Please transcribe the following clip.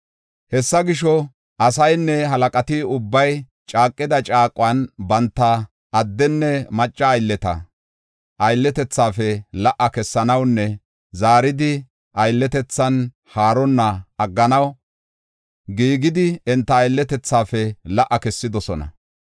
Hessa gisho, asaynne halaqati ubbay caaqida caaquwan banta addenne macca aylleta aylletethafe la77a kessanawunne zaaridi aylletethan haaronna agganaw giigidi enta aylletethafe la77a kessidosona.